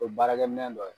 O ye baarakɛ minɛ dɔ ye